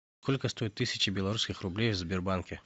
сколько стоит тысяча белорусских рублей в сбербанке